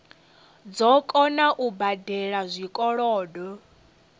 dzo kona u badela zwikolodo